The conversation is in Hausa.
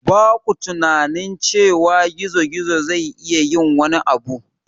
Ba ku tunanin cewa gizo-gizo zai iya yin wani abu?